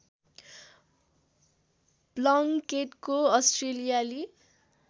प्लङ्केटले अस्ट्रेलियाली